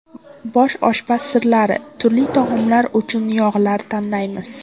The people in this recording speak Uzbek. Bosh oshpaz sirlari: turli taomlar uchun yog‘lar tanlaymiz.